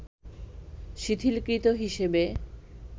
শিথিল কৃত হিসেবে